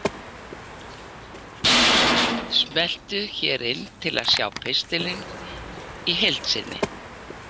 Smelltu hér til að sjá pistilinn í heild sinni